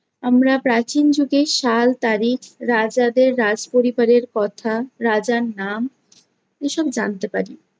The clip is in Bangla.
আমরা প্রাচীন যুগের সাল-তারিখ, রাজাদের রাজ পরিবারের কথা, রাজার নাম এসব জানতে পারি।